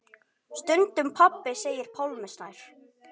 Stundum pabbi segir Pálmi Snær.